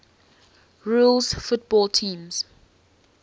rules football teams